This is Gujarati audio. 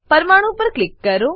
પરમાણુ પર ક્લિક કરો